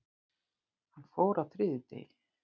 Hann fór á þriðjudegi.